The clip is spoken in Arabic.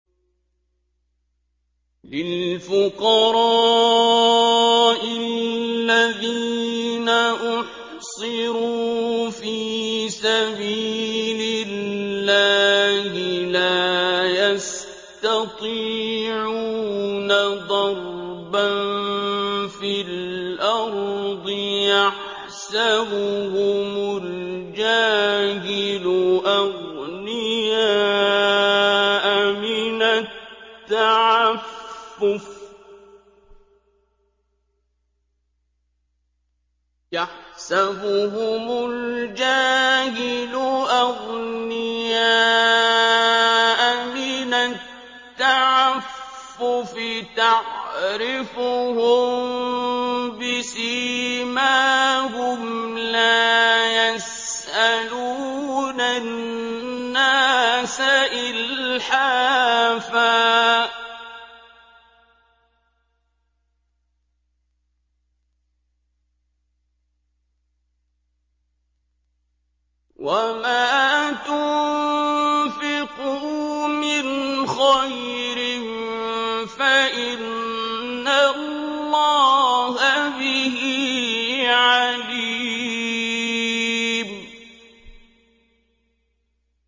لِلْفُقَرَاءِ الَّذِينَ أُحْصِرُوا فِي سَبِيلِ اللَّهِ لَا يَسْتَطِيعُونَ ضَرْبًا فِي الْأَرْضِ يَحْسَبُهُمُ الْجَاهِلُ أَغْنِيَاءَ مِنَ التَّعَفُّفِ تَعْرِفُهُم بِسِيمَاهُمْ لَا يَسْأَلُونَ النَّاسَ إِلْحَافًا ۗ وَمَا تُنفِقُوا مِنْ خَيْرٍ فَإِنَّ اللَّهَ بِهِ عَلِيمٌ